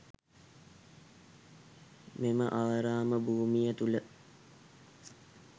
මෙම ආරම භූමිය තුළ